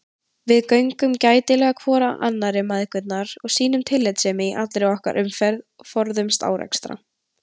Við göngum gætilega hvor hjá annarri mæðgurnar, sýnum tillitssemi í allri okkar umferð, forðumst árekstra.